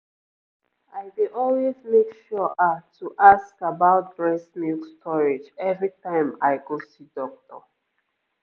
i dey always make sure ah to ask about breast milk storage every time i go see doctor